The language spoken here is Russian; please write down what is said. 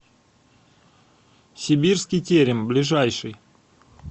сибирский терем ближайший